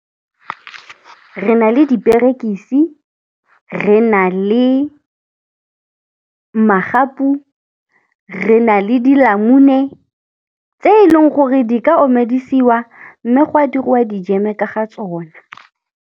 Re na le diperekisi, re na le magapu, re na le dilamune tse e leng gore di ka omedisiwa mme gwa dirwa dijeme ka ga tsona.